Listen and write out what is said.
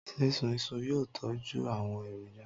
Sísun iṣu yóò tọjú àwọn èròjà.